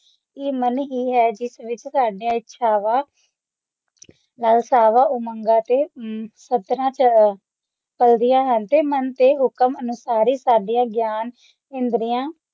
ਇਹ ਮਨ ਹੀ ਹੈ ਜਿਸ ਵਿਚ ਸਾਡੀਆਂ ਇਛਾਵਾਂ ਵਲ ਸਾਰੇ ਉਮੰਗਾਂ ਅਤੇ ਸਤਰਾਂ ਚ ਚਲਦਿਆਂ ਹਨ ਅਤੇ ਮਨ ਦੇ ਹੁਕਮ ਅਨੁਸਾਰ ਹੀ ਸਾਡੀਆਂ ਗਿਆਨ ਇੰਦਰੀਆਂ